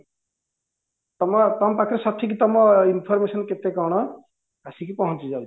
ତମ ପାଖରେ ସଠିକ ତମ information କେତେ କଣ ଆସିକି ପହଞ୍ଚି ଯାଉଛି